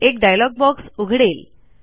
एक dialogue box उघडेल